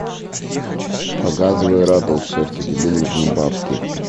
показывай ратлз все что тебе нужно бабки